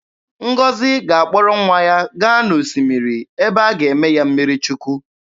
Ngọzi ga-akpọrọ nwa ya gaa n'osimiri ebe a ga-eme ya mmiri Chukwu.